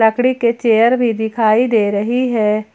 लकड़ी के चेयर भी दिखाई दे रही है।